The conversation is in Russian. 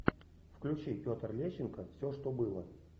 включи петр лещенко все что было